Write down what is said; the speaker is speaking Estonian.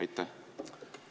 Aitäh!